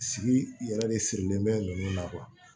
Sigi yɛrɛ de sirilen bɛ ninnu na